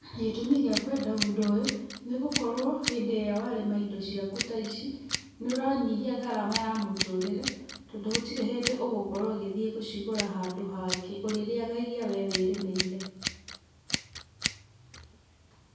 Gĩtũmi gĩa kwenda ũndũ ũyũ nĩ gũkorwo hĩndĩ ĩrĩa warĩma indo ciaku ta ici, nĩ ũranyihia ngarama ya mũtũrĩre tondũ gũtirĩ hĩndĩ ũgũkorwo ũgĩthiĩ gũcigũra handũ hangĩ, ũrĩrĩaga iria we wĩrĩmĩire.